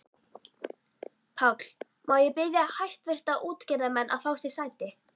PÁLL: Má ég biðja hæstvirta útgerðarmenn að fá sér sæti.